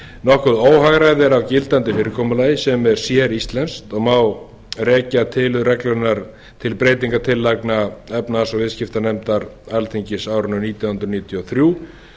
nokkuð óhagræði er að gildandi fyrirkomulagi sem er séríslenskt og má rekja til reglunnar til breytingartillagna efnahags og viðskiptanefndar alþingis á árinu nítján hundruð níutíu og þrjú